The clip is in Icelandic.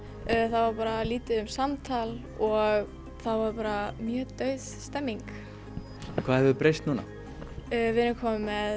það var lítið um samtal og það var bara mjög dauð stemmning hvað hefur breyst núna við erum komin með